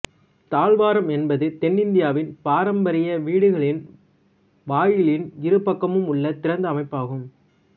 தாழ்வாரம் என்பது தென் இந்தியாவின் பாரம்பரிய வீட்டுகளின் வாயிலின் இருபக்கமும் உள்ள திறந்த அமைப்பு ஆகும்